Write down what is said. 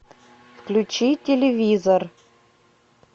включи телевизор